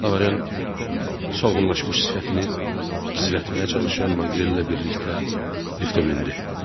Lavaryan solğunlaşmış sifətini gizlətməyə çalışan Manqrel ilə birlikdə liftə mindi.